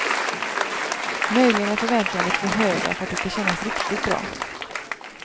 Möjligen är förväntningarna lite för höga för att det ska kännas riktigt bra.